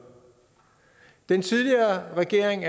den tidligere regering